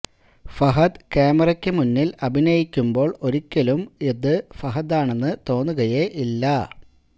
ഫഹദ് ക്യാമറയ്ക്ക് മുന്നില് അഭിനയിക്കുമ്പോള് ഒരിക്കലും അത് ഫഹദാണെന്ന് തോന്നുകയെ ഇല്ല